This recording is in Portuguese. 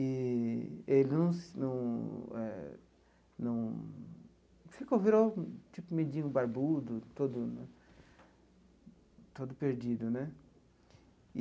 E ele num num eh num... Virou um mendigo barbudo, todo todo perdido né.